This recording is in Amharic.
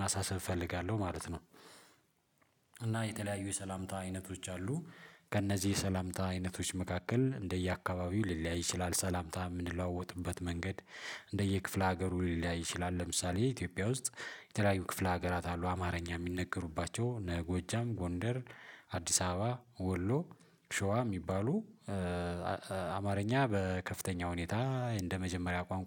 ማሳሰብ እፈልጋለሁ ማለት ነው። እና የተለያዩ የሰላምታ አይነቶች አሉ። ከእነዚህ የሰላምታ አይነቶች መካከል እንደየአካባቢው ሊለያይ ይችላል ሰላምታ የምንለዋወጥበት መንገድ እንደየክፍለ ሀገሩ ሊላይ ይችላል። ለምሳሌ የኢትዮጵያ ውስጥ የተለያዩ ክፍለ ሀገራት አሉ አማርኛ የሚነገሩባቸው እነ ጎጃም ጎንደር። አዲስ አበባ ወሎ። ሸዋ የሚባሉ አማርኛ በከፍተኛ ሁኔታ እንደመጀመሪያ ቋንቋ